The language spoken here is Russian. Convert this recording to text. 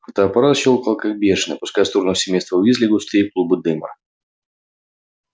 фотоаппарат щёлкал как бешеный пуская в сторону семейства уизли густые клубы дыма